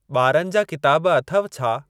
ॿारनि जा किताब अथव छा ?